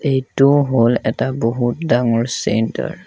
এইটো হ'ল এটা বহুত ডাঙৰ চেণ্টাৰ ।